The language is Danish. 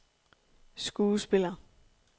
skuespiller